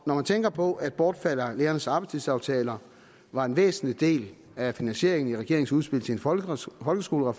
når man tænker på at bortfaldet af lærernes arbejdstidsaftaler var en væsentlig del af finansieringen i regeringens udspil til en folkeskolereform er